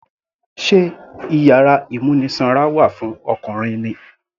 Sé iyàrá ìmúnisanra wà fún Ọkùnrin ni.